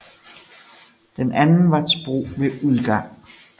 Den anden var til brug ved udgang